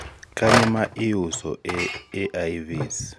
kanye ma iuso e AIVs